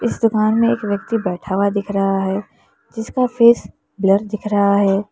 इस दुकान में एक व्यक्ति बैठा हुआ दिख रहा है जिसका फेस ब्लर दिख रहा है।